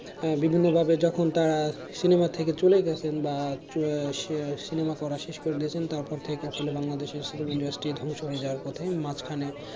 আহ বিভিন্নভাবে যখন তারা সিনেমা থেকে চলে গেছেন বা আহ আহ সিনেমা করা শেষ করে দিয়েছেন তারপর থেকে আসলে বাংলাদেশে film industry ধ্বংস হয়ে যাওয়ার পথে মাঝখানে